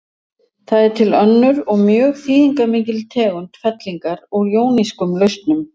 Það er til önnur og mjög þýðingarmikil tegund fellingar úr jónískum lausnum.